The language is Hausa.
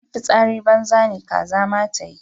In fitsari banza ne kaza ma tayi.